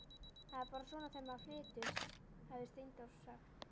Það er bara svona þegar maður flytur, hafði Steindór sagt.